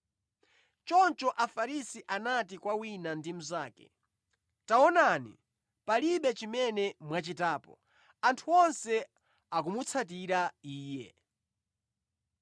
Choncho Afarisi anati kwa wina ndi mnzake, “Taonani, palibe chimene mwachitapo. Anthu onse akumutsatira Iye!”